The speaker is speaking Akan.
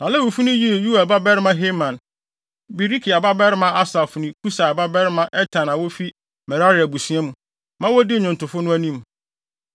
Na Lewifo no yii Yoel babarima Heman, Berekia babarima Asaf ne Kusaia babarima Etan a wofi Merari abusua mu, ma wodii nnwontofo no anim.